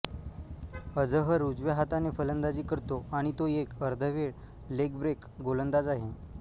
अझहर उजव्या हाताने फलंदाजी करतो आणि तो एक अर्धवेळ लेगब्रेक गोलंदाज आहे